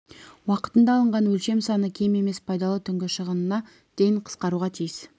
уақытында алынған өлшем саны кем емес пайдалы түнгі шығынына дейін қысқаруға тиіс